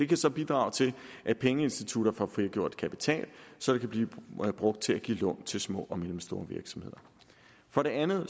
kan så bidrage til at pengeinstitutter får frigjort kapital som kan blive brugt til at give lån til små og mellemstore virksomheder for det andet